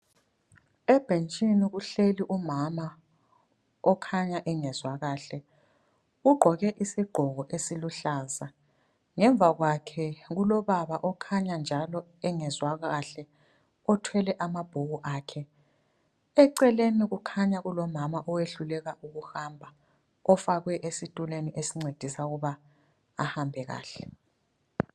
Ebhentshini kuhleli umama okhanya engezwa kahle ugqoke isigqoko esiluhlaza ngemva kwakhe kulobaba okhanya njalo engezwa kahle othwele amabhuku akhe eceleni kukhanya kulomama owehluleka ukuhamba ofakwe esitulweni esincedisa ukuba ahambe kahle.